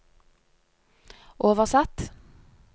oversatt